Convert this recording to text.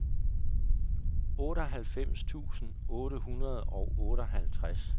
otteoghalvfems tusind otte hundrede og otteoghalvtreds